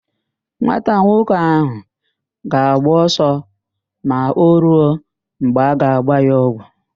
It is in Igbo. Nwata nwoke ahụ ga-agba ọsọ ma o ruo mgbe a ga-agba ya ọgwụ.